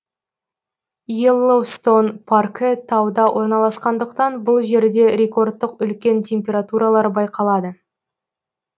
йеллоустон паркі тауда орналасқандықтан бұл жерде рекордтық үлкен температуралар байқалады